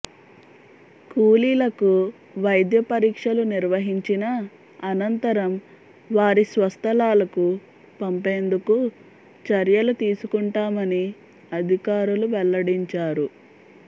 కూలీలకు వైద్య పరీక్షలు నిర్వహించిన అనంతరం వారి స్వస్థలాలకు పంపేందుకు చర్యలు తీసుకుంటామని అధికారులు వెల్లడించారు